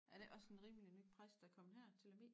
Er det æ også en rimelig ny præst der er kommet her til Lemvig?